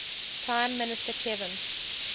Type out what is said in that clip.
prime minister kevin